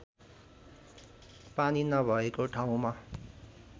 पानी नभएको ठाउँमा